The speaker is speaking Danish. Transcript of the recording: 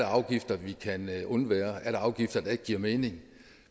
afgifter vi kan undvære er afgifter der ikke giver mening